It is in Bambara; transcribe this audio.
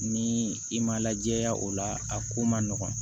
Ni i ma lajɛ ya o la a ko ma nɔgɔn